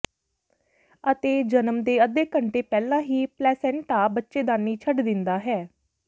ਅਤੇ ਜਨਮ ਦੇ ਅੱਧੇ ਘੰਟੇ ਪਹਿਲਾਂ ਹੀ ਪਲੈਸੈਂਟਾ ਬੱਚੇਦਾਨੀ ਛੱਡ ਦਿੰਦਾ ਹੈ